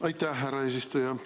Aitäh, härra eesistuja!